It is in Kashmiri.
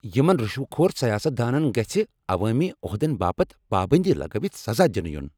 یمن رشوٕ كھور سیاست دانن گژھہِ عوٲمی عہدٕن باپت پابندی لگٲوِتھ سزا دِنہٕ یُن ۔